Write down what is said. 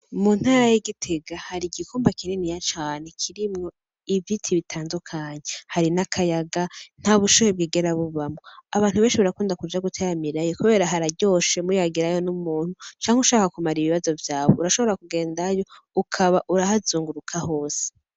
Mu ntara ya Gitega hari igikumba kininiya cane kirimwo ibiti bitandukanye hari n'akayaga, nta bushuhe bwigera bubamwo. Abantu benshi barakunda kija guteramirayo kubera hararyoshe muyagirayo n'umuntu, canke ushaka kumara ibibazo vyawe urashobora kugendayo ukaba urahazunguruka hose